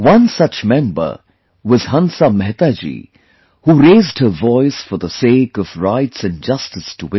One such Member was Hansa Mehta Ji, who raised her voice for the sake of rights and justice to women